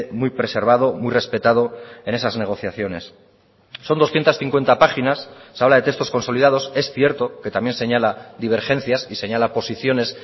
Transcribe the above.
muy preservado muy respetado en esas negociaciones son doscientos cincuenta páginas se habla de textos consolidados es cierto que también señala divergencias y señala posiciones